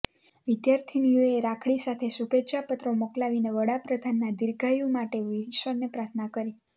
વિદ્યાર્થીનીઓએ રાખડી સાથે શુભેચ્છાપત્રો મોકલાવીને વડાપ્રધાનના દીર્ઘાયુ માટે ઈશ્વરને પ્રાર્થના કરી